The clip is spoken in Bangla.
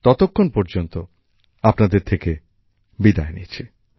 ততক্ষণ পর্যন্ত আপনাদের থেকে বিদায় নিচ্ছি